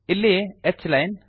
ಇಲ್ಲಿ h line